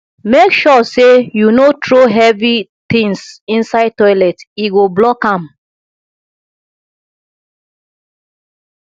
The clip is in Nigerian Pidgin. make sure sey you no throw heavy tins inside toilet e go block am